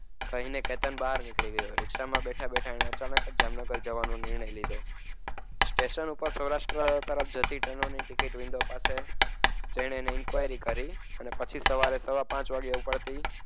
કહીને કેતન બહાર નીકળી ગયો. રિક્ષામાં બેઠા બેઠા એણે અચાનક જામનગર જવાનો નિર્ણય લીધો. સ્ટેશન ઉપર સૌરાષ્ટ્ર તરફ જતી ટ્રેનની ticket window પાસે જઈને એને enquiry કરી અને પછી સવારે પાંચ વાગ્યે ઉપડતી.